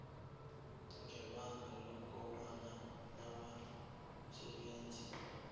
ngebanga lokobana abasebenzi